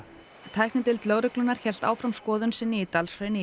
tæknideild lögreglunnar hélt áfram skoðun sinni í Dalshrauni